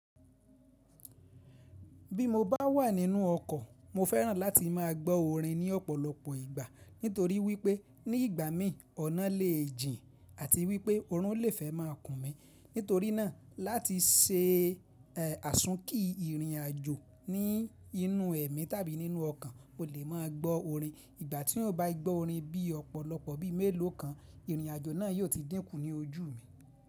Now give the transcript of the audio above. Bí mo bá wà nínú ọkọ̀, mo fẹ́ràn láti máa gbọ́ orin ní ọ̀pọ̀lọpọ̀ ìgbà. Nítorí wípé ní ìgbà mí ọ̀nà lè jìn àti wípé orún lè fẹ́ máa kùn mí. Nítorí náà láti sẹ àsùnkí ìrìn àjò ní inú ẹ̀mí tàbí nínú ọkọ̀n, o lè máa gbọ́ orin. Ìgbà tí o bá gbọ́ orin bí ọ̀pọ̀lọpọ̀ bí i mélòó kan, ìrìn àjò náà yóò ti dínkù ní ojú mi.